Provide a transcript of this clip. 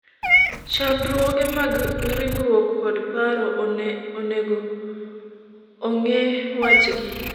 chandruoge mag ringruok kod paro onego ong'I wachgi